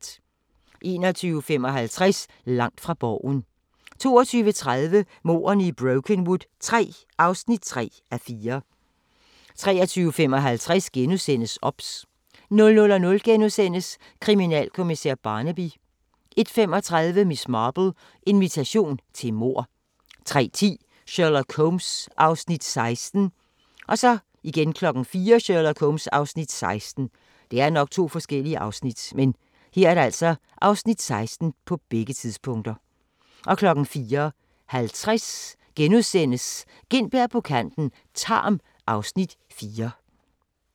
21:55: Langt fra Borgen 22:30: Mordene i Brokenwood III (3:4) 23:55: OBS * 00:00: Kriminalkommissær Barnaby * 01:35: Miss Marple: Invitation til mord 03:10: Sherlock Holmes (Afs. 16) 04:00: Sherlock Holmes (Afs. 16) 04:50: Gintberg på kanten - Tarm (Afs. 4)*